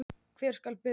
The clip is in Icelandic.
Hvar skal byrja.